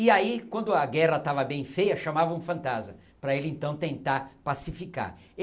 E aí, quando a guerra estava bem feia, chamavam o Fantasma, para ele então tentar pacificar.